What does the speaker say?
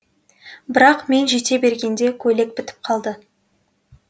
бірақ мен жете бергенде көйлек бітіп қалды